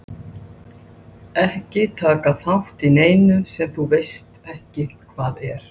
Það eina neikvæða var að skora ekki.